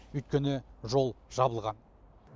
өйткені жол жабылған